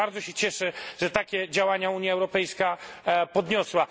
Bardzo się cieszę, że takie działania Unia Europejska podjęła.